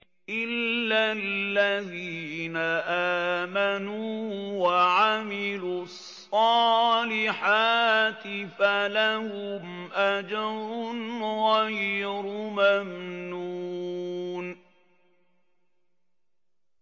إِلَّا الَّذِينَ آمَنُوا وَعَمِلُوا الصَّالِحَاتِ فَلَهُمْ أَجْرٌ غَيْرُ مَمْنُونٍ